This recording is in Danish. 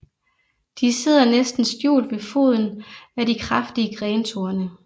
De sidder næsten skjult ved foden af de kraftige grentorne